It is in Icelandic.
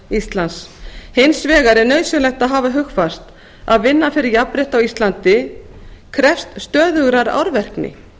íslands hins vegar er nauðsynlegt að hafa hugfast að vinna fyrir jafnrétti á íslandi krefst stöðugrar árvekni